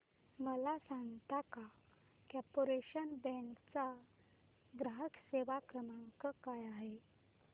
मला सांगता का कॉर्पोरेशन बँक चा ग्राहक सेवा क्रमांक काय आहे